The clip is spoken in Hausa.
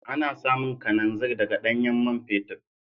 Ana samun kananzir daga ɗanyen man fetur.